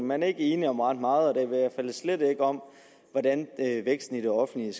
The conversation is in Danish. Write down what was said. man er ikke enig om ret meget og da slet ikke om hvordan væksten i det offentlige